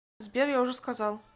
сбер я уже сказал